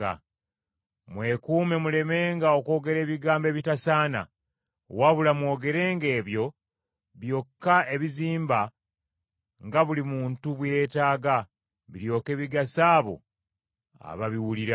Mwekuume mulemenga okwogera ebigambo ebitasaana, wabula mwogerenga ebyo byokka ebizimba nga buli muntu bwe yeetaaga, biryoke bigase abo ababiwulira.